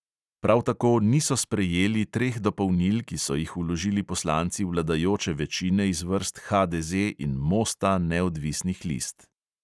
Prav tako niso sprejeli treh dopolnil, ki so jih vložili poslanci vladajoče večine iz vrst HDZ in mosta neodvisnih list.